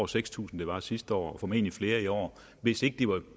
seks tusind det var sidste år og formentlig flere i år hvis ikke